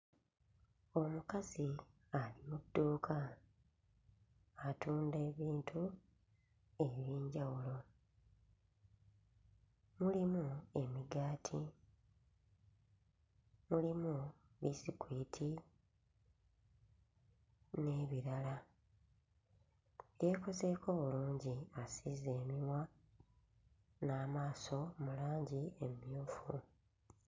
Omukazi ali mu dduuka atunda ebintu eby'enjawulo, mulimu emigaati, mulimu biisikwiti n'ebirala, yeekozeeko bulungi asiize emimwa n'amaaso mu langi emmyufu.